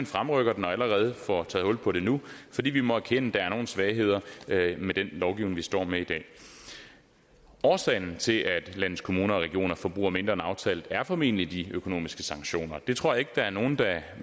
fremrykker den og allerede får taget hul på den nu fordi vi må erkende at der er nogle svagheder med den lovgivning vi står med i dag årsagen til at landets kommuner og regioner forbruger mindre end aftalt er formentlig de økonomiske sanktioner det tror jeg ikke der er nogen